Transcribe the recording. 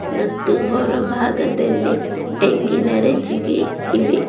ಮತ್ತು ಹೊರ ಭಾಗದಲ್ಲಿ ತೆಂಗಿನ ರಜ್ಜಿಗೆ ಇವೆ.